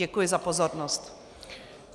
Děkuji za pozornost.